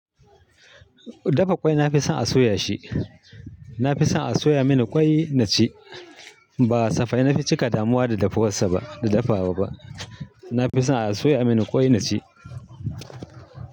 Dafa ƙwai, na fi son a soya shi. Na fi son a soya mini ƙwai na ci, ba kasafai na fi cika damuwa da dafuwan sa ba, da dafawa ba. Na fi son a soya mini ƙwai na ci.